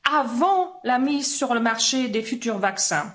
avant la mise sur le marché des futurs vaccins.